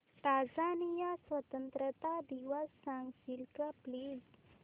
Tanzania स्वतंत्रता दिवस सांगशील का प्लीज